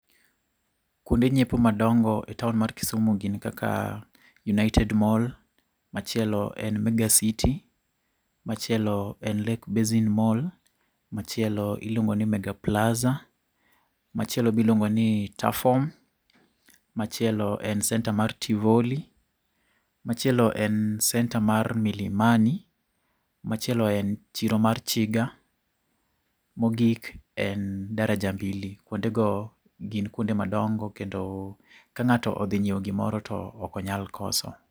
Kwonde nyiepo madongo e taon mar Kisumu gin kaka, United Mall, machielo en Mega City, machielo en Lake Basin Mall, machielo iluongo ni Mega Plaza, machielo biluongo ni Tuffoam, machielo en center mar Tivoli, machielo en centre mar Milimani, machielo en chiro mar Chiga, mogik en Daraja Mbili. Kwonde go gin kwonde madongo kendo, ka ng'ato odhinyiewo gimoro to okonyal koso